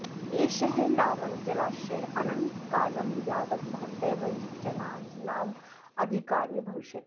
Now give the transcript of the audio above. एषः लावणजलाशयः अनन्तकालं यावत् भवतः वंशजानाम् अधिकारे भविष्यति